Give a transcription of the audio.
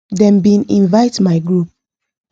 them bin invite my group